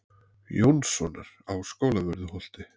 Jónssonar á Skólavörðuholti.